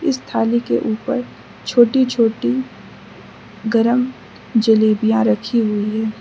इस थाली के ऊपर छोटी छोटी गरम जलेबियां रखी हुई है।